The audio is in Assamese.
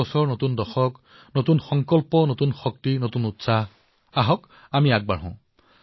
নতুন বৰ্ষ নতুন দশক নতুন সংকল্প নতুন শক্তি নতুন উদ্দীপনা নতুন উৎসাহ আহক আমি আগবাঢ়ো